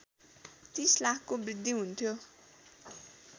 ३० लाखको वृद्धि हुन्थ्यो